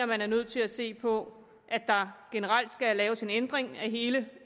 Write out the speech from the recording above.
man er nødt til at se på at der generelt skal laves en ændring af hele